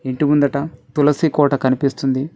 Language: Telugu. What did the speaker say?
ఇంటి ముందట తులసి కోట కనిపిస్తుంది.